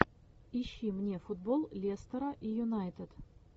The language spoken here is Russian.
ищи мне футбол лестера и юнайтед